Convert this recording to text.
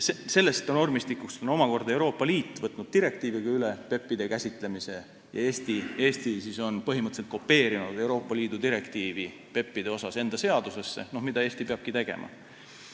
Sellest normistikust on Euroopa Liit omakorda võtnud direktiiviga üle PEP-ide käsitlemise ja Eesti on põhimõtteliselt kopeerinud Euroopa Liidu direktiivi PEP-ide kohta enda seadusesse, nagu peabki tegema.